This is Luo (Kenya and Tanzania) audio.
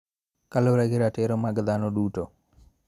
Kaluwore gi ratiro mag dhano duto.